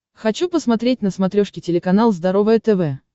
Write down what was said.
хочу посмотреть на смотрешке телеканал здоровое тв